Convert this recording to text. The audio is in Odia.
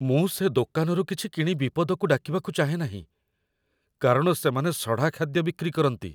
ମୁଁ ସେ ଦୋକାନରୁ କିଛି କିଣି ବିପଦକୁ ଡାକିବାକୁ ଚାହେଁନାହିଁ, କାରଣ ସେମାନେ ସଢ଼ା ଖାଦ୍ୟ ବିକ୍ରି କରନ୍ତି।